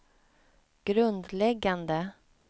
grundläggande